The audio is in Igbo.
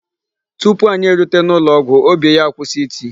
Tupu anyị erute n'ụlọọgwụ, óbì ya kwụsị iti.